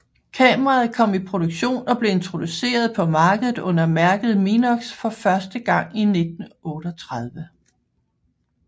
Kameraet kom i produktion og blev introduceret på markedet under mærket Minox for første gang i 1938